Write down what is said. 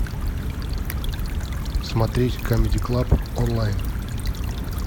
смотреть камеди клаб онлайн